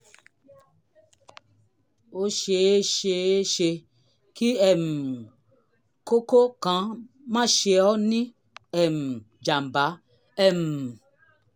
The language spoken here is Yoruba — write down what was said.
ó ṣe é ṣe é ṣe kí um kókó kan máa ṣe ọ́ ní um jàm̀bá um